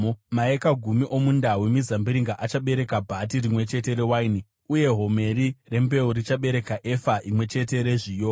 Maeka gumi omunda wemizambiringa achabereka bhati rimwe chete rewaini, uye homeri rembeu richabereka efa imwe chete rezviyo.”